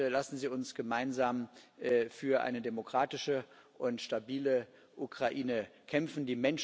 Lassen Sie uns gemeinsam für eine demokratische und stabile Ukraine kämpfen!